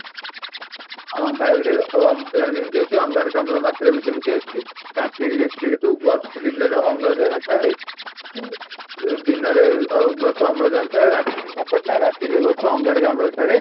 ହଁ , ବାୟୁ ରେ ଅମ୍ଳଜାନ ଯେମିତି ଅଛି ଅଙ୍ଗାରକାମ୍ଳ ର ମାତ୍ରା ବି ସେମିତି ଅଛି ରାତି ରେ ଯେତିକି ଯେତିକି ଦିନ ରେ ଅମ୍ଳଜାନ ଥାଏ ଦିନ ରେ ଅଂ ଗଛ ଅମ୍ଳଜାନ ଛାଡେ ରାତି ରେ କ'ଣ କରେ ନା ରାତି ରେ ଗଛ ଅଙ୍ଗାରକାମ୍ଳ ଛାଡେ